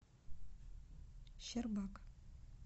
щербак